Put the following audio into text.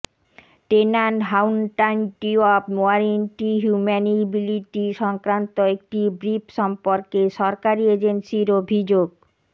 tenant হাউন্টাইটি of warranty হিউম্যানিবিলিটি সংক্রান্ত একটি ব্রিফ সম্পর্কে সরকারী এজেন্সির অভিযোগ